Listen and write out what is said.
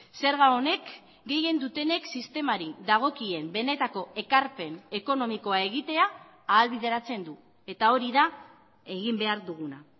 zerga honek gehien dutenek sistemari dagokien benetako ekarpen ekonomikoa egitea ahalbideratzen du eta hori da egin behar duguna